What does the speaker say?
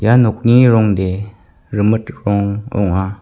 ia nokni rongde rimit rong ong·a.